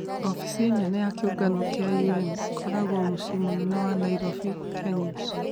Obithii nene ya kĩongano kĩa UN gĩkoragwo mũciĩ mũnene wa Nairobi ,Kenya